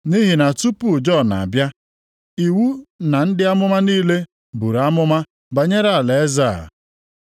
Nʼihi na tupu Jọn abịa, iwu na ndị amụma niile buru amụma banyere alaeze a.